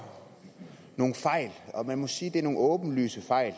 nogle fejl og man må sige at det er nogle åbenlyse fejl